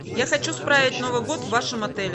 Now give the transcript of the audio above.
я хочу справить новый год в вашем отеле